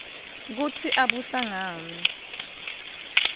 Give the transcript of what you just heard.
kutsi abusanqani